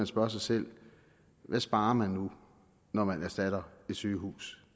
spørge sig selv hvad sparer man nu når man erstatter et sygehus